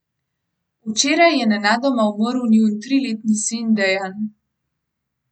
Včeraj je nenadoma umrl njun triletni sin Dejan.